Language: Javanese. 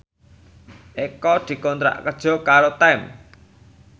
Eko dikontrak kerja karo Time